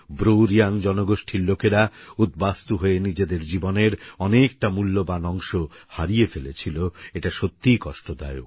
Bru Reang জনগোষ্ঠীর লোকেরা উদ্বাস্তু হয়ে নিজেদের জীবনের অনেকটা মুল্যবান অংশ হারিয়ে ফেলেছিল এটা সত্যিই কষ্টদায়ক